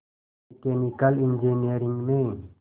mechanical engineering में